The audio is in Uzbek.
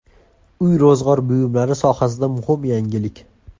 Uy-ro‘zg‘or buyumlari sohasida muhim yangilik!